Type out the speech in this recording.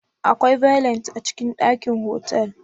Akwai Valet a cikin dakin otal